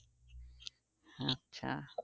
আচ্ছা